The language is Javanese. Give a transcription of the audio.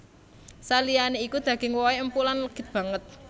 Saliyané iku daging wohé empuk lan legit banget